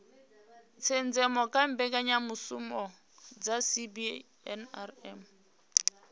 tshenzhemo kha mbekanyamishumo dza cbnrm